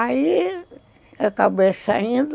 Aí, acabei saindo.